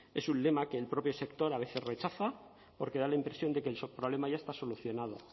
es un lema que el propio sector a veces rechaza porque da la impresión de que su problema ya está solucionado